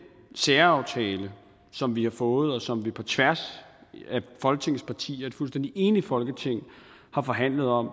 særaftale som vi har fået og som vi på tværs af folketingets partier et fuldstændig enigt folketing har forhandlet om